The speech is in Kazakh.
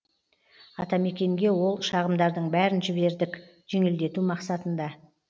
атамекенге ол шағымдардың бәрін жібердік жеңілдету мақсатында